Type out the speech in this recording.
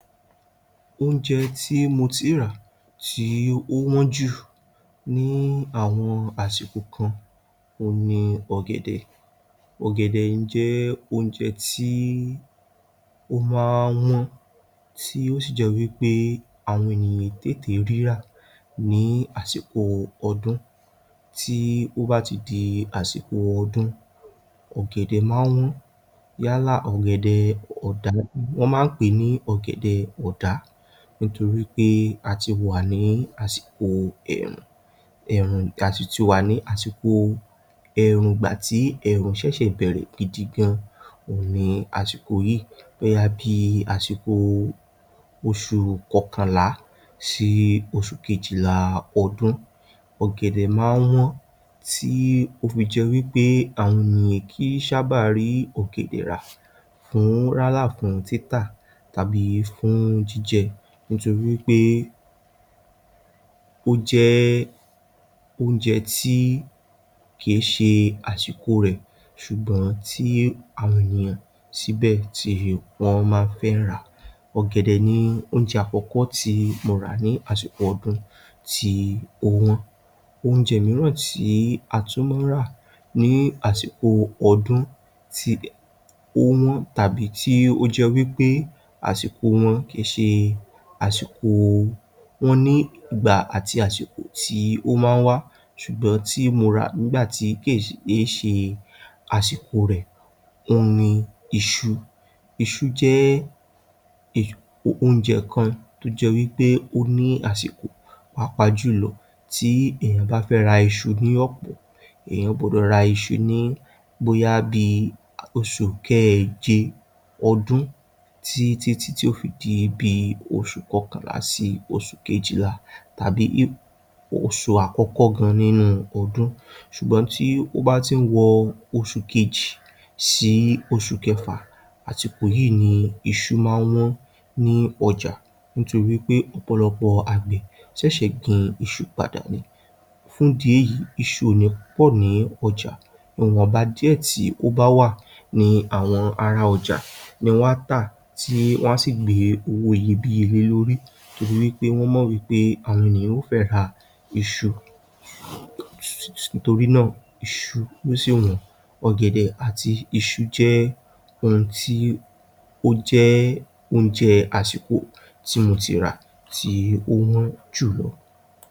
Oúnjẹ tí mo ti rà tí ó wọ́n jù ní àwọn àsìkò kan òhun ni ọ̀gẹ̀dẹ̀. Ọ̀gẹ̀dẹ̀ jẹ́ oúnjẹ tí ó máa ń wọ́n tó sì jẹ́ wí pé àwọn èèyàn kìí tètè rí rà ní àsìkò ọdún. Tí ó bá ti di àsìkò ọdún, ọ̀gẹ̀dẹ̀ màa ń wọ́n yálà wọ́n máa ń pè é ní ọ̀gẹ̀dẹ̀ ọ̀dá, nítorí pé a ti wà nínú ẹ̀ẹ̀rùn, a sì ti wà ní àsìkò ẹ̀ẹ̀rùn nígbà tí ẹ̀ẹ̀rùn ṣẹ̀ṣẹ̀ bẹ̀ẹ̀rẹ̀ gidi gan-an ni àsìkò yìí, bóyá bíi àsìkò oṣù kọkànlá sí oṣù kejìlá ọdún. Ọ̀gẹ̀dẹ̀ máa ń wọ̀n tí ó fi jẹ́ wí pé àwọn ènìyàn kìì ṣábà rí ọ̀gẹ̀dẹ̀ rà rará yálà fún títà tàbí fún jíjẹ nítorí pé ó jẹ́ oúnjẹ tí kìí ṣe àsìkò rẹ̀ ṣùgbọ́n tí àwọn ènìyàn síbẹ̀ tí wọ́n máa ń fẹ́ rà. ọ̀gẹ̀dẹ̀ ni oúnjẹ àkọ́kọ́ tí mo rà nìgbà ọdún tí ó wọ́n. Oúnjẹ mìíì tí a tún ń rà ní àsìkò ọdún tí ó wọ́n tàbí tí ó jẹ́ wí pé àsìko wọn kìí ṣe àsìkò wọn, wọ́n ní ìgbà àti àsìkò tí wọ́n máa ń wá ṣùgbọ̀n tí mo rà lásìko tí kìí ṣe àsìkò rẹ̀ òhun ni iṣu. Iṣu jẹ́ oúnjẹ kan tó jẹ́ wí pé wọ́n ní àsìkò pàápàá jùlọ tí èèyàn bá fẹ́ ra iṣu ní ọ̀pọ̀, èèyàn gbọdọ̀ ra iṣu ní bóyá bíi oṣù keèje ọdún títí ti yó fi di bíi oṣù kọkànlá sí oṣù kejìlá tàbí oṣù àkọ́kọ́ gan-an nínú ọdún, ṣùgbọ́n tí ó bá ti ń wọ oṣù kejì sí oṣù kẹfà àsìkò yìí ni iṣu máa ń wọ̀n ní ọjà nítorí tí wí pé ọ̀pọ̀lọpọ̀ àgbẹ̀ ṣẹ̀ṣẹ̀ gbin iṣu padà ni. Fún ìdí èyí iṣu kò ní pọ̀ ní ọjà. Ìwọ̀nba díẹ̀ tí ó bá wà ni àwọn ará ọjà ni wọn á tà tí wọn á sì gbé owó iyebíye lé lórí torí pé wọn mọ̀ wí pé àwọn ènìyàn fẹ́ ra iṣu. Torí náà iṣu sì wọ́n. Ọ̀gẹ̀dẹ̀ àti iṣunǹkan tí ó jẹ́ oúnjẹ àsìkò tí mo ti rà tì ó wọ́n jù.